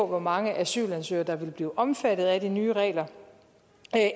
hvor mange asylansøgere der vil blive omfattet af de nye regler